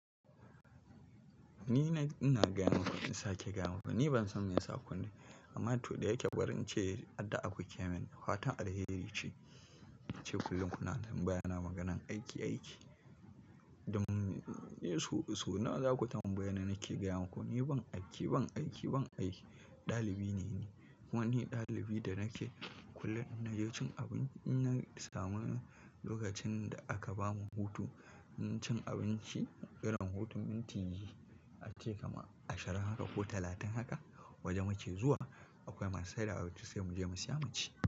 Ni na, ina gaya muku in sake gaya muku ni ban san me yasa kunne. Amma to da yake barin ce, addu'a akuke min fatan alheri ce. Ce kullum kuna tambaya na maganan aiki, aiki. Sau, sau nawa za ku tambaye ni nake gaya maku ni ban aiki, ban aiki, ban aiki. Ɗalibi ne ni. Kuma ni ɗalibi da nake kullum na je cin abinci. In na samu lokacin da aka bamu hutu, na cin abinci. Irin hutun minti ya ce kama ashirin haka ko talatin haka waje muke zuwa. Akwai masu saida abinci sai mu je mu siya mu ci.